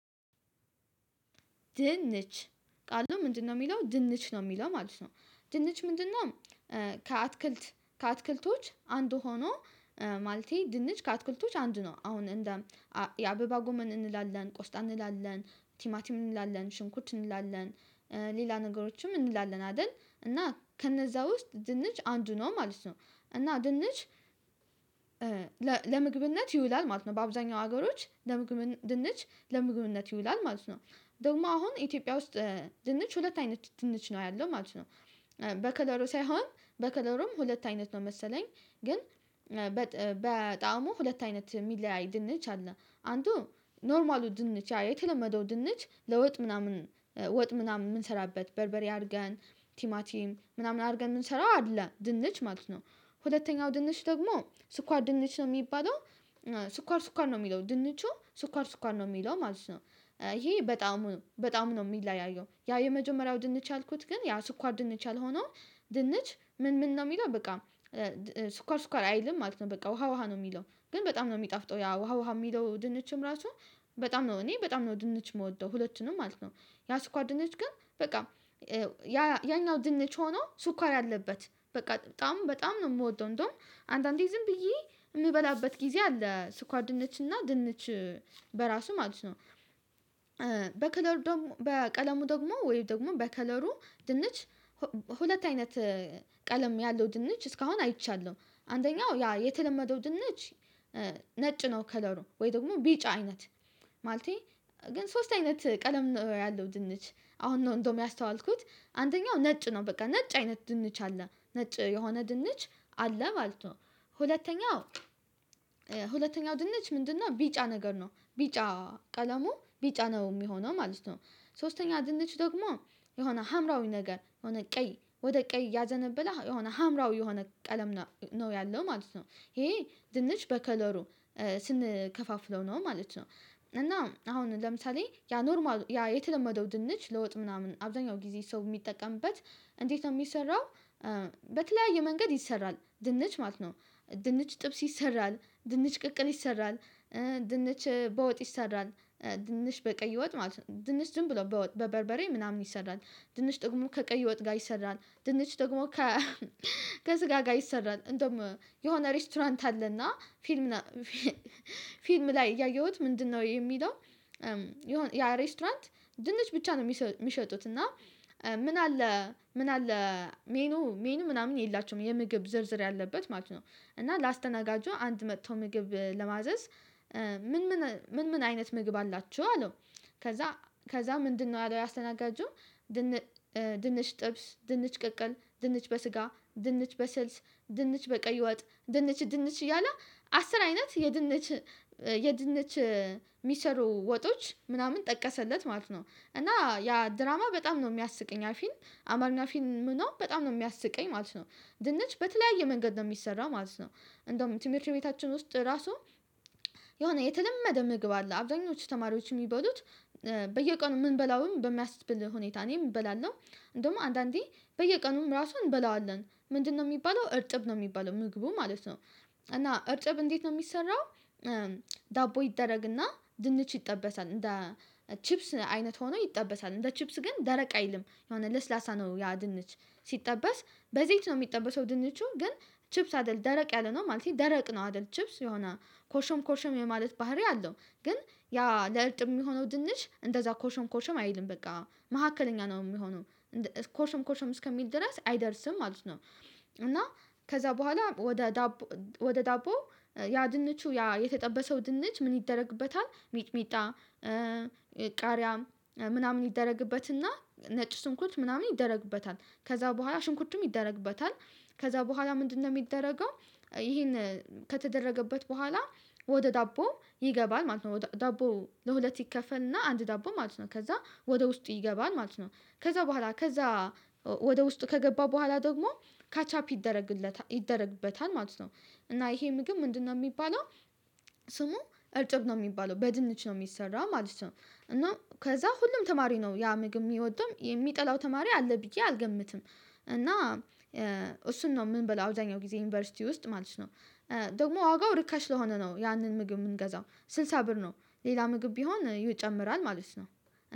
ድንች ቃሉ ምንድነው የሚለው ድንች ነው የሚለው ማለት ነው ድንች ምንድነው? ከአትክልት ከአትክልቶች አንዱ ሆኖ ማለቴ ድንች ከአትክልቶች አንድ ነው። አሁን እንደ የአበባ ጎመን እንላለን ቆስጣ እንላለን ቲማቲም እንላለን ሽንኩት እንላለን ሌላ ነገሮችም እንላለን አይደል እና ከነዛ ውስጥ ድንች አንዱ ነው ማለት ነው። እና ድንች ለምግብነት ይውላል ማለት ነው በአብዛኛው ሀገሮች ለምግብ ድንች ለምግብነት ይውላል ማለት ነው። ደግሞ አሁን ኢትዮጵያ ውስጥ ድንች ሁለት አይነት ድንች ነው ያለው ማለት ነው። በከለሩ ሳይሆን በከለሩም ሁለት አይነት ነው መሰለኝ ግን በጣሙ ሁለት አይነት የሚለያይ ድንች አለ። አንዱ ኖርማሉ ድንች የተለመደው ድንች ለወጥ ምናምን ወጥ ምናምን የምንሰራበት በርበሬ አድርገን ቲማቲም ምናምን አድርገን የምንሰራው አለ ድንች ማለት ነው። ሁለተኛው ድንች ደግሞ ስኳር ድንች ነው የሚባለው። ስኳር ስኳር ነው የሚለው ድንቹ ስኳር ስኳር ነው የሚለው ማለት ነው። ይሄ በጣም በጣም ነው የሚለያየው ያ የመጀመሪያው ድንች አልኩት ግን ያ ስኳር ድንች አልሆነው። ድንች ምን ምን ነው የሚለው በቃ ስኳር ስኳር አይልም ማለት ነው። በቃ ውሃ ውሃ ነው የሚለው ግን በጣም ነው የሚጠፍጠው ያ ውሃ ውሃ የሚለው ድንችም ራሱ። በጣም ነው እኔ በጣም ነው ድንች የምወደው ሁለችንም ማለት ነው። ያ ስኳር ድንች ግን በቃ ያ ያኛው ድንች ሆኖ ስኳር አለበት በቃ በጣም በጣም ነው የምወደው እንደውም አንዳንዴ ዝም ብዬ የምበላበት ጊዜ አለ ስኳር ነችና ድንች በራሱ ማለት ነው። በከለሩ በቀለሙ ደግሞ ወይ ደግሞ በከለሩ ድንች ሁለት አይነት ቀለም ያለው ድንች እስካሁን አይቻለሁ። አንደኛው ያ የተለመደው ድንች ነጭ ነው ከለሩ ወይ ደግሞ ቢጫ አይነት። ማለቴ ግን ሶስት አይነት ቀለም ነው ያለው ድንች አሁን እንደውም ያስተዋልኩት አንደኛው ነጭ ነው በቃ ነጭ አይነት ድንች አለ ነጭ የሆነ ድንች አለ ማለት ነው። ሁለተኛው ሁለተኛው ድንች ምንድነው? ቢጫ ነገር ነው ቢጫ ቀለሙ ቢጫ ነው የሚሆነው ማለት ነው። ሶስተኛ ድንች ደግሞ የሆነ ሀምራዊ ነገር የሆነ ቀይ ወደ ቀይ ያዘነበለ የሆነ ሀምራዊ የሆነ ቀለም ነው ያለው ማለት ነው። ይሄ ድንች በከለሩ ስንከፋፍለው ነው ማለት ነው። እና አሁን ለምሳሌ ያ ኖርማል ያ የተለመደው ድንች ለወጥ ምናምን አብዛኛው ጊዜ ሰው የሚጠቀምበት እንዴት ነው የሚሰራው? በተለያየ መንገድ ይሰራል ድንች ማለት ነው። ድንች ጥብስ ይሰራል ድንች ቅቅል ይሰራል። ድንች በወጥ ይሰራል ድንች በቀይ ወጥ ማለት ነው ድንች ዝምብሎ በበርበሬ ምናምን ይሰራል። ድንች ደግሞ ከቀይ ወጥ ጋር ይሰራል ድንች ደግሞ ከ ከስጋ ጋር ይሰራል እንደውም የሆነ ሬስቶራንት አለና ፊልም ነው ፊልም ላይ ያየሁት ምንድነው የሚለው? የሆነ ያሬስቶራንት ድንች ብቻ ነው የሚሸጡት እና ምን አለ ምን አለ ሜኑ ሜኑ ምናምን የላቸውም የምግብ ዝርዝር ያለበት ማለት ነው። እና ላስተናጋጁ አንድ መጥቶ ምግብ ለማዘዝ ምን ምን ምን ምን አይነት ምግብ አላችሁ አለው። ከዛ ከዛ ምንድነው አለው ያ አስተናጋጁ ድንች ጥብስ ድንች ቅቅል ድንች በስጋ ድንች በስልስ ድንች በቀይ ወጥ ድንች ድንች እያለ አስር አይነት የድንች የድንች የሚሰሩ ወጦች ምናምን ጠቀሰለት ማለት ነው። እና ያ ድራማ በጣም ነው የሚያስቀኝ ያ ፊልም አማርኛ ፊልም ነው በጣም ነው የሚያስቀኝ ማለት ነው። ድንች በተለያየ መንገድ ነው የሚሰራው ማለት ነው እንደውም ትምህርት ቤታችን ውስጥ ራሱ የሆነ የተለመደ ምግብ አለ አብዛኞቹ ተማሪዎች የሚበሉት። በየቀኑ የምንበላውም በሚያስብል ሁኔታ እኔም እበላለሁ። እንደውም አንዳንዴ በየቀኑም ራሱን እንበላዋለን ምንድነው የሚባለው እርጥብ ነው የሚባለው ምግቡ ማለት ነው እና እርጥብ እንዴት ነው የሚሰራው? ዳቦ ይደረግና ድንች ይጠበሳል እንደ ቺፕስ አይነት ሆኖ ይጠበታል እንደ ቺፕስ ግን ደረቅ አይልም የሆነ ለስላሳ ነው ያ ድንች ሲጠበስ በዘይት ነው የሚጠበሰው ድንቹ ግን ቺፕስ አይደለም ደረቅ ያለነው ማለት ደረቅ ነው አይደለም ቺፕስ የሆነ ኮርሽም ኮርሽም የማለት ባህሪ አለው። ግን ያ ለእርጥብ የሚሆነው ድንች እንደዛ ኮርሽም ኮርሽም አይልም በቃ መካከለኛ ነው የሚሆነው። ኮርሽም ኮርሽም እስከሚል ድረስ አይደርስም ማለት ነው። እና ከዛ በኋላ ወደ ዳቦ ወደ ዳቦ ያ ድንቹ ያ የተጠበሰው ድንች ምን ይደረግበታል? ሚቅሚጣ ቃሪያ ምናምን ይደረግበትና ነጭ ሽንኩት ምናምን ይደረግበታል። ከዛ በኋላ ሽንኩትም ይደረግበታል። ከዛ በኋላ ምንድነው የሚደረገው? ይሄን ከተደረገበት በኋላ ወደ ዳቦ ይገባል ማለት ነው ዳቦ ለሁለት ይከፈልና አንድ ዳቦ ማለት ነው ከዛ ወደ ውስጡ ይገባል ማለት ነው። ከዛ በኋላ ከዛ ወደ ውስጥ ከገባ በኋላ ደግሞ ካች አፕ ይደረግበታል ማለት ነው። እና ይሄ ምግብ ምንድነው የሚባለው? ስሙ እርጥብ ነው የሚባለው በድንች ነው የሚሰራው ማለት ነው እና ከዛ ሁሉም ተማሪ ነው ያ ምግብ ሚወደው የሚጠላው ተማሪ አለ ብዬ አልገምትም። እና እሱን ነው የምንበላው አብዛኛው ጊዜ ዩኒቨርሲቲ ውስጥ ማለት ነው። ደግሞ ዋጋው ርከሽ ስለሆነ ነው ያንን ምግብ የምንገዛው ስልሳ ብር ነው። ሌላ ምግብ ቢሆን ይጨምራል ማለት ነው።